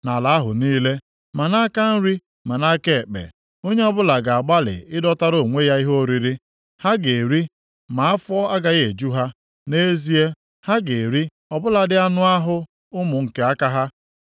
Nʼala ahụ niile, ma nʼaka nri ma nʼaka ekpe, onye ọbụla ga-agbalị ịdọtara onwe ya ihe oriri. Ha ga-eri ma afọ agaghị eju ha; nʼezie, ha ga-eri ọ bụladị anụ ahụ ụmụ nke aka ha.